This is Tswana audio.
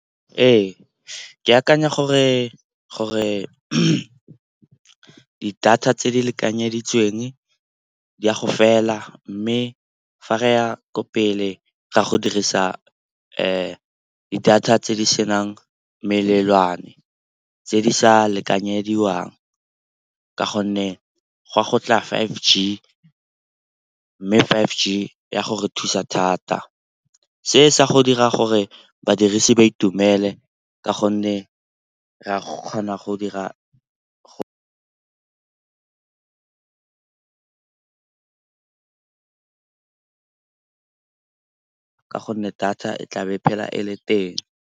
Ee, ke akanya gore di-data tse di lekanyeditsweng di a go fela mme fa re ya ko pele ga go dirisa di-data tse di senang melelwane, tse di sa lekanyediwang. Ka gonne go a go tla five G mme five G ya gore thusa thata. Se sa go dira gore badirisi ba itumele ka gonne re a kgona go dira go ka gonne data e tla be phela e le teng.